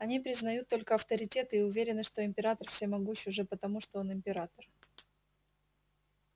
они признают только авторитеты и уверены что император всемогущ уже потому что он император